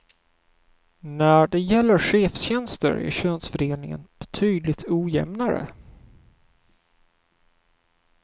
När det gäller chefstjänster är könsfördelningen betydligt ojämnare.